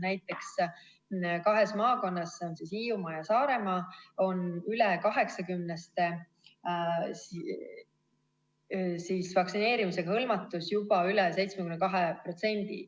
Näiteks kahes maakonnas – need on Hiiumaa ja Saaremaa – on üle 80-ste vaktsineerimisega hõlmatus juba üle 72%.